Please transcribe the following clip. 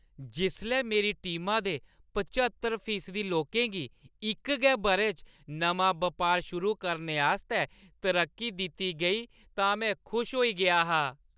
जिसलै मेरी टीमा दे प्हच्चतर फीसदी लोकें गी इक गै बʼरे च नमां बपार शुरू करने आस्तै तरक्की दित्ती गेई तां में खुश होई गेआ हा।